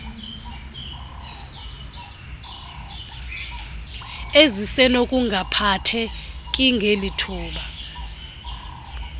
ezisenokungaphatheki ngeli thuba